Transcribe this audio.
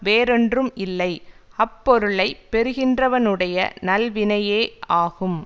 வேறொன்றும் இல்லை அப் பொருளை பெறுகின்றவனுடைய நல்வினையே ஆகும்